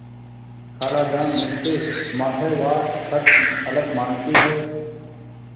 खालाजान मुझसे माहवार खर्च अलग माँगती हैं